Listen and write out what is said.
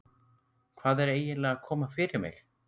Hvað er eiginlega að koma fyrir mig?